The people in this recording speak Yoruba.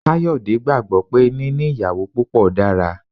Kayode ni gbàgbo pé níní ìyàwó púpọ dára.